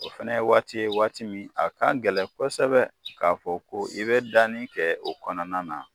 O fɛnɛ ye waati ye waati min a ka gɛlɛn kɔsɛbɛ k'a fɔ ko i bɛ danni kɛ o kɔnɔna na.